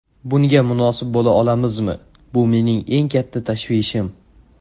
Bunga munosib bo‘la olamizmi bu mening eng katta tashvishim.